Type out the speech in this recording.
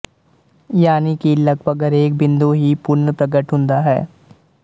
ਯਾਨਿ ਕਿ ਲੱਗਪਗ ਹਰੇਕ ਬਿੰਦੂ ਹੀ ਪੁਨਰਪ੍ਰਗਟ ਹੁੰਦਾ ਹੈ